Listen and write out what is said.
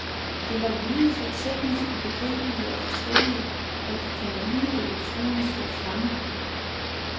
Det var lyde så teknisk ubegribelige og forskellige, at de kan ligne elektroniske klange.